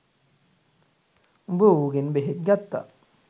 උඹ උගෙන් බෙහෙත් ගත්තා